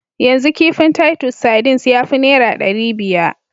Yanzu kifin titus sardines ya fi naira ɗari biya.